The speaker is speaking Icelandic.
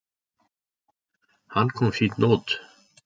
Hann kom fínt út.